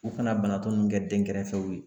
U kana banatɔ nunnu kɛ denkɛrɛfɛw ye.